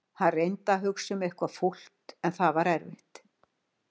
Hann reyndi að hugsa um eitthvað fúlt en það var erfitt.